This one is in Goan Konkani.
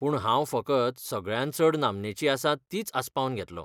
पूण, हांव फकत सगळ्यांत चड नामनेचीं आसात तींच आसपावन घेतलों.